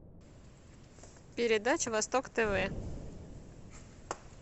передача восток тв